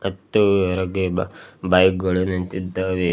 ಮತ್ತು ಹೊರಗೆ ಬಾ ಬೈಕ್ ಗಳು ನಿಂತಿದ್ದಾವೆ.